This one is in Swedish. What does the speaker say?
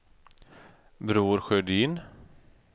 Bror Sjödin